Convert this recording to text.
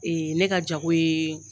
ne ka jago ye